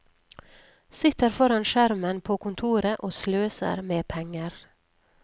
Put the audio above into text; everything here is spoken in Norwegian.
Sitter foran skjermen på kontoret og sløser med penger.